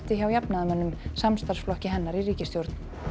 hjá jafnaðarmönnum samstarfsflokki hennar í ríkisstjórn